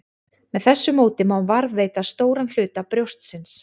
Með þessu móti má varðveita stóran hluta brjóstsins.